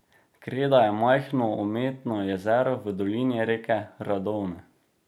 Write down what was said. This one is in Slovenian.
Kreda je majhno umetno jezero v dolini reke Radovne.